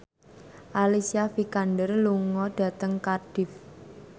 Alicia Vikander lunga dhateng Cardiff